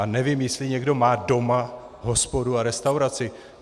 A nevím, jestli někdo má doma hospodu a restauraci.